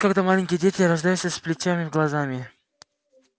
когда маленькие дети рождаются с плетями в глазами